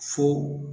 Fo